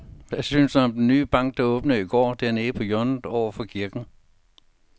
Hvad synes du om den nye bank, der åbnede i går dernede på hjørnet over for kirken?